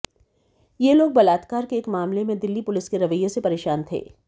ये लोग बलात्कार के एक मामले में दिल्ली पुलिस के रवैये से परेशान थे